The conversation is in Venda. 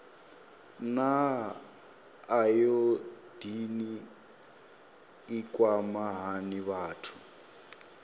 naa ayodini i kwama hani vhathu